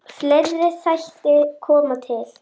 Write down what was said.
Fleiri þættir koma til.